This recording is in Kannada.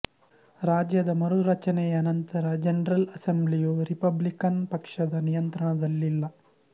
ರಾಜ್ಯದ ಮರುರಚನೆಯ ನಂತರ ಜನರಲ್ ಅಸೆಂಬ್ಲಿಯು ರಿಪಬ್ಲಿಕನ್ ಪಕ್ಷದ ನಿಯಂತ್ರಣದಲ್ಲಿಲ್ಲ